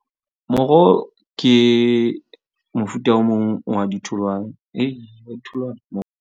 Moroho ke mofuta o mong wa ditholwang .